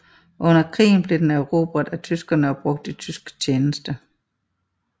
Under krigen blev den erobret af tyskerne og brugt i tysk tjeneste